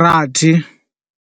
rathi.